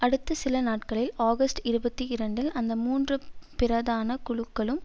அடுத்த சில நாட்களில் ஆகஸ்ட் இருபத்தி இரண்டில் அந்த மூன்று பிரதான குழுக்களும்